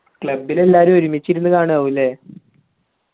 club ൽ എല്ലാരും ഒരുമിച്ച് ഇരുന്ന് കാണുവാവുയല്ലേ